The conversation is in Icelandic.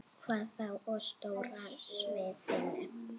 Hvað þá á stóra sviðinu?